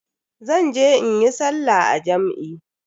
Zan je in yi sallah a jam'i.